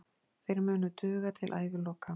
Þeir munu duga til æviloka.